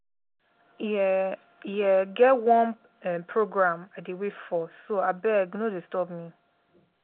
e um e um get one um program i dey wait for so abeg no disturb me